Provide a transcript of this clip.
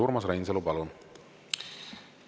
Urmas Reinsalu, palun!